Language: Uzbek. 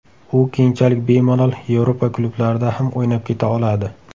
U keyinchalik bemalol Yevropa klublarida ham o‘ynab keta oladi.